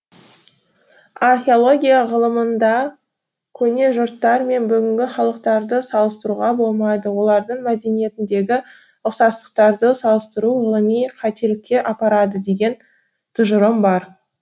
археология ғылымында көне жұрттар мен бүгінгі халықтарды салыстыруға болмайды олардың мәдениетіндегі ұқсастықтарды салыстыру ғылыми қателікке апарады деген тұжырым бар